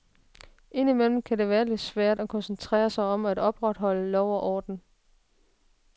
Indimellem kan det være lidt svært at koncentrere sig om at opretholde lov og orden.